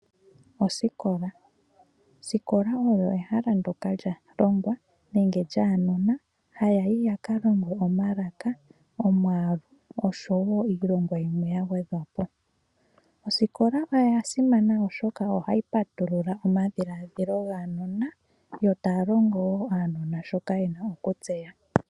Osikola oyo ehala ndyoka lyaalongwa nenge lyaanona hayayi yaka longwe omalaka, omwaalu oshowoo iilongwa yimwe yagwedhwapo. Osikola oyasimana oshoka ohayi patulula omadhiladhilo gaanona , yo taalongo woo aanona shoka yena okutseya.